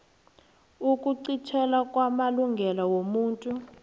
ukuqintelwa kwamalungelo womuntu